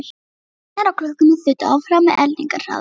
Vísarnir á klukkunni þutu áfram með eldingarhraða.